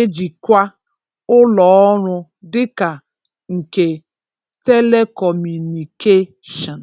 ejikwa ụlọọrụ dịka nke telekọmụnịkeshọn.